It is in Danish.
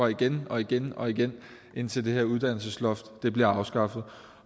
igen og igen og igen indtil det her uddannelsesloft bliver afskaffet